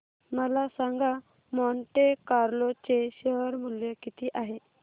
मला सांगा Monte Carlo चे शेअर मूल्य किती आहे